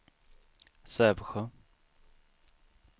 Sävsjö